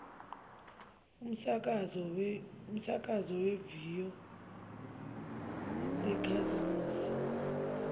umsakazo weviyo lezakhamuzi